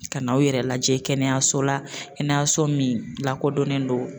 Ka n'aw yɛrɛ lajɛ kɛnɛyaso la kɛnɛyaso min lakodɔnnen don